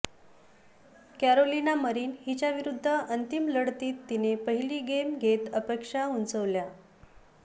Carolina Marin हिच्याविरुद्ध अंतिम लढतीत तिने पहिली गेम घेत अपेक्षा उंचावल्या